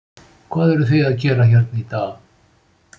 Hvað eruð þið að gera hérna í dag?